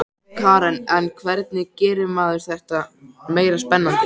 Karen: En hvernig gerir maður þetta meira spennandi?